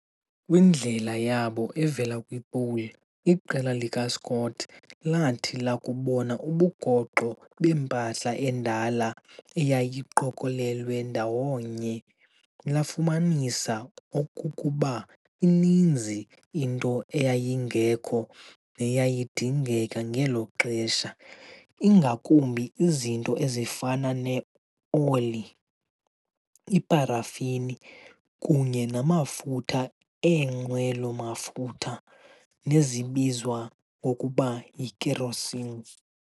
Kwindlela yabo evela kwi-Pole, iqela likaScott lathi lakubona ubugoxo bempahla endala eyayiqokolelwe ndawo nye lafumanisa okokuba ininzi into eyayingekho neyayidingeka ngelo xesha, ingakumbi izinto ezifana ne-oli, iparafini kunye namafutha eenqwelo-mafutha nezibizwa ngokuba yi-Kerosene.